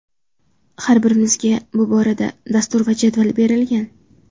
Har birimizga bu borada dastur va jadval berilgan.